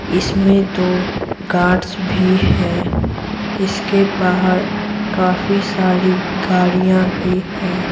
इसमें दो गार्ड्स भी हैं इसके बाहर काफी सारी गाड़ियाँ भी हैं।